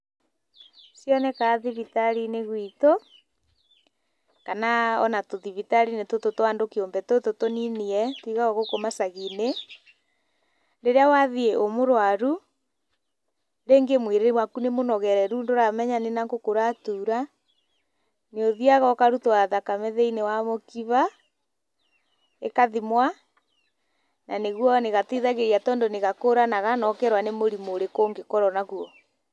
Cionekaga thibitarĩ-inĩ gwitũ kana ona tũthibitarĩ-inĩ tũtũ twa andũ kĩũmbe tũtũ tũnini ĩ tũigagwo gũkũ macagi-inĩ. Rirĩa wathiĩ wĩ mũrwaru rĩngĩ mwĩrĩ waku nĩ mũnogereru ndũramenya nĩ nakũ kũratura, nĩ ũthiaga ũkarutwo thakame thiĩnĩ wa mũkiba ĩkathomwa. Na nĩguo nĩgateithagĩrĩria tondũ nĩ gakũranaga na ũkerwo nĩ mũrimu ũrĩkũ ũngĩkorwo naguo.